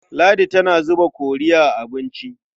Ladi tana zuba kori a abinci.